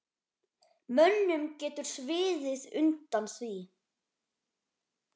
Mönnum getur sviðið undan því.